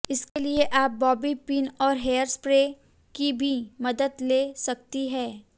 इसके लिए आप बॉबी पिन और हेयर स्प्रे की भी मदद ले सकती हैं